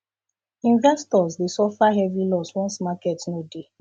investors dey suffer um heavy loss once market um no dey